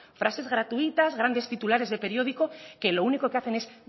frases gratuitas grandes titulares de periódico que lo único que hacen es